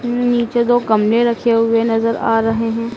न नीचे दो गमले रखे हुए नजर आ रहे हैं।